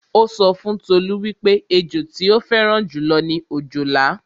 Ó sọ fún Tolú wípé ẹjọ tí ó fẹ́ràn jù lọ ni òjòlá